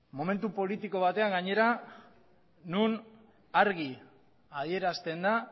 momentu politiko batean gainera non argi adierazten da